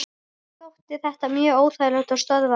Mér þótti þetta mjög óþægilegt og stöðvaði hann.